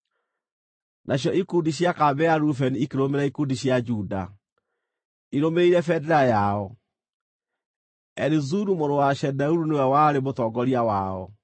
Nacio ikundi cia kambĩ ya Rubeni ikĩrũmĩrĩra ikundi cia Juda, irũmĩrĩire bendera yao. Elizuru mũrũ wa Shedeuru nĩwe warĩ mũtongoria wao.